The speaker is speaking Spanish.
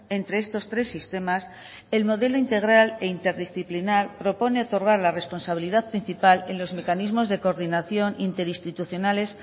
entre estos tres sistemas el modelo integral e interdisciplinar propone otorgar la responsabilidad principal en los mecanismos de coordinación interinstitucionales